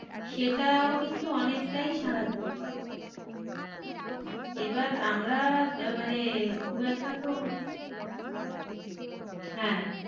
সেটাও কিন্তু অনেকটাই সাহায্য করে এবার আমরা আহ মানে খুব একটা তো মানে হ্যাঁ,